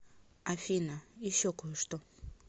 афина еще кое что